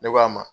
Ne k'a ma